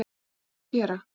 Hvað á hann að gera